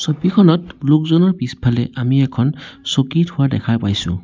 ছবিখনত লোকজনৰ পিছফালে আমি এখন চকী থোৱা দেখা পাইছোঁ।